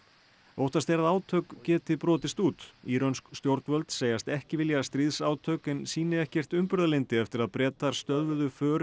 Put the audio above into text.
óttast er að átök geti brotist út írönsk stjórnvöld segjast ekki vilja stríðsátök en sýni ekkert umburðarlyndi eftir að Bretar stöðvuðu för